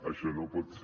això no pot ser